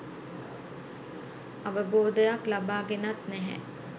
අවබෝධයක් ලබාගෙනත් නැහැ.